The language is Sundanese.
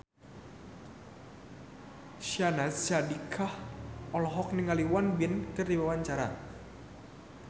Syahnaz Sadiqah olohok ningali Won Bin keur diwawancara